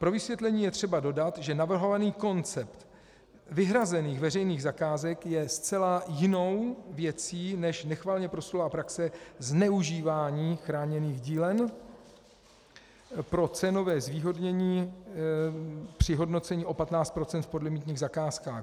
Pro vysvětlení je třeba dodat, že navrhovaný koncept vyhrazených veřejných zakázek je zcela jinou věcí než nechvalně proslulá praxe zneužívání chráněných dílen pro cenové zvýhodnění při hodnocení o 15 % v podlimitních zakázkách.